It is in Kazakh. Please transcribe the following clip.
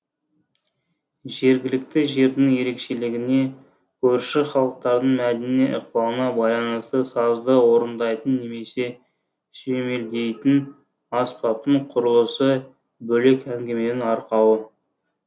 жергілікті жердің ерекшелігіне көрші халықтардың мәдени ықпалына байланысты сазды орындайтын немесе сүйемелдейтін аспаптың құрылысы бөлек әңгіменің арқауы